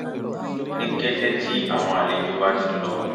ní kété tí àwọn àlejò bá ti lọ